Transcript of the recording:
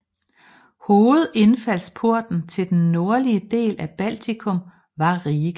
Hovedindfaldsporten til den nordlige del af Baltikum var Riga